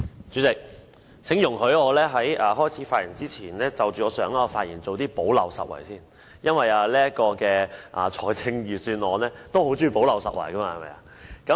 主席，請容許我在開始發言之前，就我上一次發言做補漏拾遺，因為財政預算案也很愛做補漏拾遺。